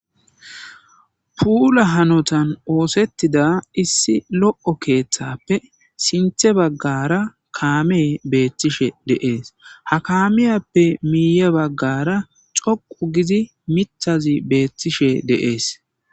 puula hanotan oosettida issi lo7o keeththappe sinthe baggara kaame beettishe deees ha kamiyappe miiye baggara coqu gizi mithazi beettishe de'ees